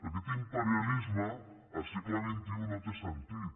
aquest imperialisme al segle xxi no té sentit